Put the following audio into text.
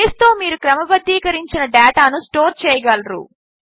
బేస్తో మీరు క్రమబద్దీకరించిన డేటాను స్టోర్ చేయగలరు